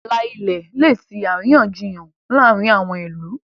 ààlà ilẹ lẹ tí àríyànjiyàn láàrin àwọn ilú.